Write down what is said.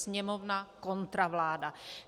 Sněmovna kontra vláda.